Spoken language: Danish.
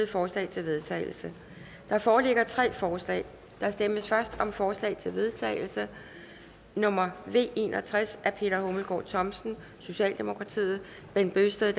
forslag til vedtagelse der foreligger tre forslag der stemmes først om forslag til vedtagelse nummer v en og tres af peter hummelgaard thomsen bent bøgsted